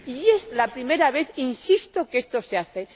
Y es la primera vez ―insisto― que esto se hace.